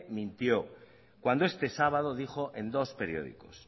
mintió cuando este sábado dijo en dos periódicos